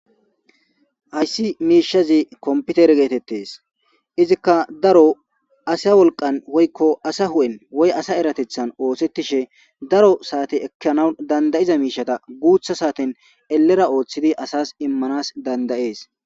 Haysi mishezi kompitere getetes izzika daro asa wolqan woy asa huphen woy asa eratethan othetishe daro sate ekanaw danda'iza mishata gutha saten elera othidi asas imanas dandayes